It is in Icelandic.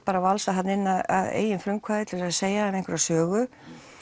bara valsa þarna inn að eigin frumkvæði til þess að segja þeim einhverja sögu